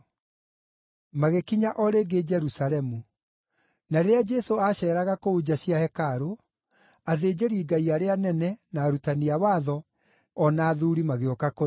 Magĩkinya o rĩngĩ Jerusalemu, na rĩrĩa Jesũ aaceeraga kũu nja cia hekarũ, athĩnjĩri-Ngai arĩa anene, na arutani a watho, o na athuuri magĩũka kũrĩ we.